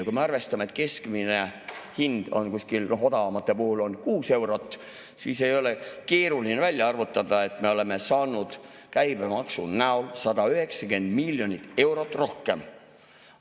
Kui me arvestame, et keskmine hind on odavamate puhul kuskil kuus eurot, siis ei ole keeruline välja arvutada, et me oleme saanud käibemaksu näol 190 miljonit eurot rohkem.